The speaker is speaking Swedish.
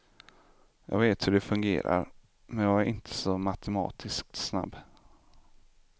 Jag vet hur det fungerar, men jag är inte så matematiskt snabb.